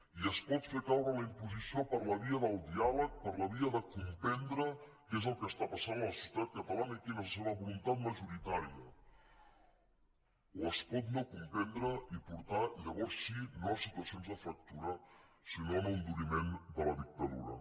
i es pot fer caure la imposició per la via del diàleg per la via de comprendre què és el que està passant a la societat catalana i quina és la seva voluntat majoritària o es pot no comprendre i portar llavors sí no a situacions de fractura sinó a un enduriment de la dictadura